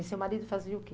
E seu marido fazia o quê?